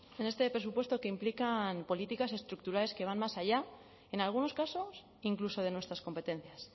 en este presupuesto que implican políticas estructurales que van más allá en algunos casos incluso de nuestras competencias